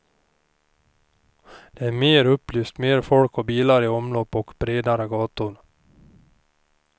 Det är mer upplyst, mer folk och bilar i omlopp och bredare gator.